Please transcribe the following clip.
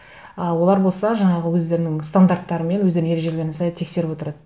ы олар болса жаңағы өздерінің стандарттары мен өздерінің ережелеріне сай тексеріп отырады